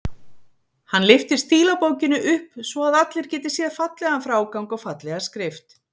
Hann lyftir stílabókinni upp svo að allir geti séð fallegan frágang og fallega skrift.